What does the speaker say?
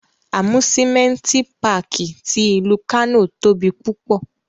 Amusimenti Pààki ti ilu Kano tobi pupọ